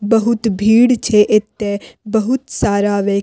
बहुत भीड़ छे एते बहुत सारा व्य --